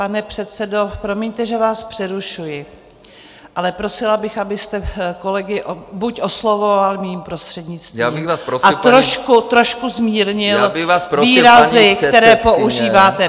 Pane předsedo, promiňte, že vás přerušuji, ale prosila bych, abyste kolegy buď oslovoval mým prostřednictvím a trošku zmírnil výrazy, které používáte.